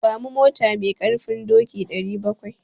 Ba mu mota mai ƙarfin doki 700.